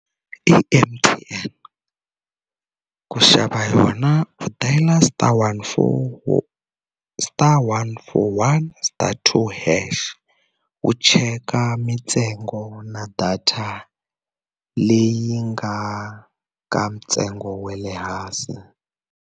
I M_T_N ku xava yona u dayile star one four star one four one star two hash u cheka mintsengo na data leyi nga ka ntsengo wa le hansi.